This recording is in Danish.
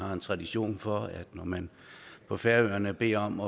har en tradition for at når man på færøerne beder om